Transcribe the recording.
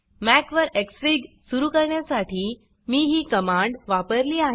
Mac वर xfig सुरू करण्यासाठी मी ही कमांड वापरली आहे